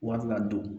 Wari ladon